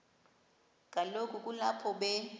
kaloku kulapho be